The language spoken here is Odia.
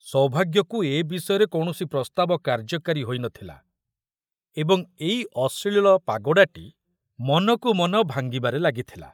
ସୌଭାଗ୍ୟକୁ ଏ ବିଷୟରେ କୌଣସି ପ୍ରସ୍ତାବ କାର୍ଯ୍ୟକାରୀ ହୋଇ ନ ଥିଲା ଏବଂ ଏଇ ଅଶ୍ଳୀଳ ପାଗୋଡ଼ାଟି ମନକୁ ମନ ଭାଙ୍ଗିବାରେ ଲାଗିଥିଲା।